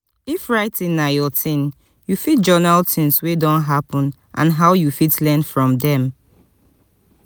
if writing na your thing you fit journal things wey don happen and how you fit learn from them